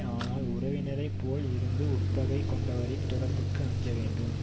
ஆனால் உறவினரைப் போல் இருந்து உட்பகை கொண்டவரின் தொடர்புக்கு அஞ்ச வேண்டும்